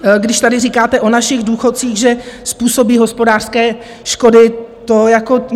Když tady říkáte o našich důchodcích, že způsobí hospodářské škody, to jako...